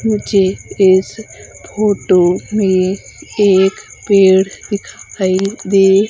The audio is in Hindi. मुझे इस फोटो में एक पेड़ दिखाई दे--